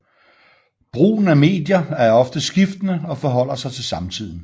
Brugen af medier er ofte skiftende og forholder sig til samtiden